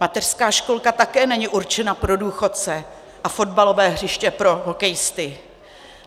Mateřská školka také není určena pro důchodce a fotbalové hřiště pro hokejisty.